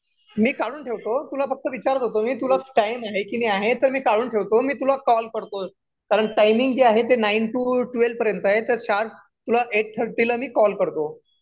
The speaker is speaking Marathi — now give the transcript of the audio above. मी काढून ठेवतो तुला फक्त विचारत होतो मी तुला टाईम आहे की नाही आहे तर मी काढून ठेवतो मी तुला कॉल करतो कारण टायमिंग जे आहे ते नाइन टू ट्वेल पर्यंत आहे तर शार्प तुला एठ थर्टी ला मी कॉल करतो